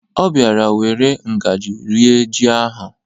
Ọ bịara were ngaji rie ji ahụ.